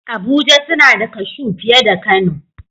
Abuja suna da kashu fiye da kano